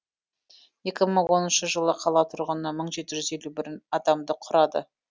екі мың оныншы жылы қала тұрғыны мың жеті жүз елу бір адамды құрады